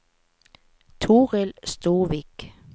Torild Storvik